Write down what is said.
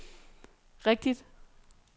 rigtigt